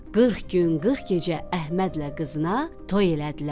Qırx gün, qırx gecə Əhmədlə qızına toy elədilər.